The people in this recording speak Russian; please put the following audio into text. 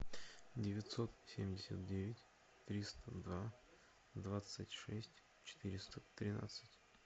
девятьсот семьдесят девять триста два двадцать шесть четыреста тринадцать